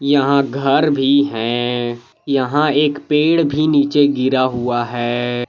यहां घर भी हैं। यहां एक पेड़ भी नीचे गिरा हुआ है।